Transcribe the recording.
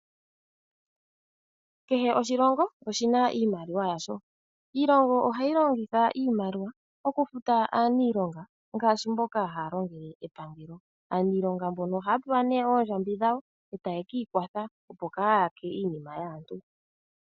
Kehe oshilongo oshi na iimaliwa yasho. Iilongo ohayi longitha iimaliwa okufuta aaniilonga ngaashi mboka haya longele epangelo. Aaniilonga mbono ohaya pewa ne oondjambi dhawo, eta ye kiikwatha opo kaa kayake iinima yaantu.